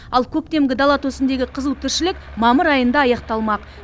ал көктемгі дала төсіндегі қызу тіршілік мамыр айында аяқталмақ